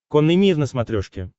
конный мир на смотрешке